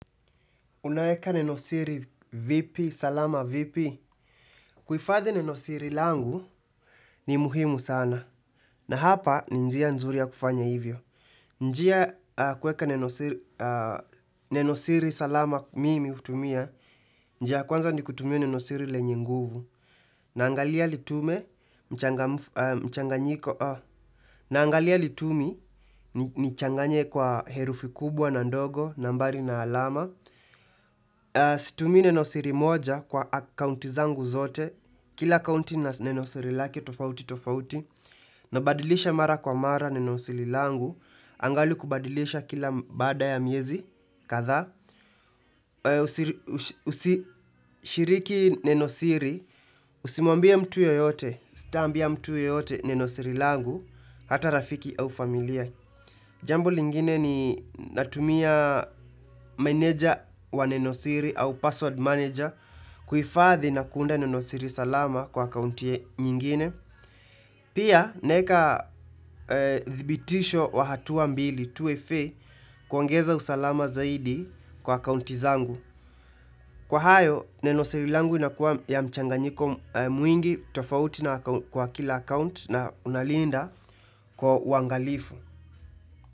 Unaeka nenosiri vipi, salama vipi? Kuhifadhi nenosiri langu ni muhimu sana. Na hapa ni njia nzuri ya kufanya hivyo. Njia kueka nenosiri salama mimi hutumia. Njia kwanza nikutumia nenosiri lenye nguvu. Naangalia litume mchanganyiko. Naangalia litumi nichanganye kwa herufi kubwa na ndogo, nambari na alama. Situmii nenosiri moja kwa akaunti zangu zote Kila akaunti ina nenosiri lake tofauti tofauti nabadilisha mara kwa mara nenosiri langu Angali kubadilisha kila baada ya miezi kadha Usishiriki nenosiri usimwambie mtu yeyote sitaambia mtu yeyote nenosiri langu Hata rafiki au familia Jambo lingine ni natumia manager wa nenosiri au password manager kuihifadhi na kuunda nenosiri salama kwa akaunti nyingine. Pia, naeka dhibitisho wa hatua mbili 2FA kuongeza usalama zaidi kwa akaunti zangu. Kwa hayo, nenosiri langu inakuwa ya mchanganyiko mwingi tofauti na kwa kila account na unalinda kwa uangalifu.